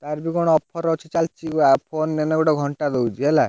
ତାର ବି କଣ offer ଅଛି ଚାଲିଛି ନୁଆ phone ନେଲେ ଗୋଟେ ଘଣ୍ଟା free ଦଉଛି ହେଲା।